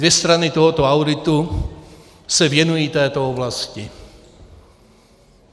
Dvě strany tohoto auditu se věnují této oblasti.